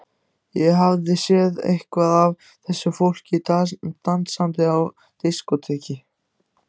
Ég hafði séð eitthvað af þessu fólki dansandi á diskóteki.